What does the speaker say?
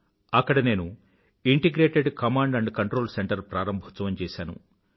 అక్కడ నేను integrated command and control centre ప్రారంభోత్సవం చేశాను